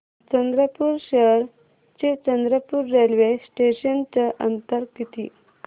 चंद्रपूर शहर ते चंद्रपुर रेल्वे स्टेशनचं अंतर किती